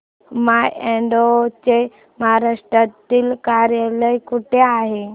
माय Advo चे महाराष्ट्रातील कार्यालय कुठे आहे